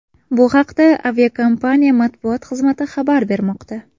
Bu haqda aviakompaniya matbuot xizmati xabar bermoqda .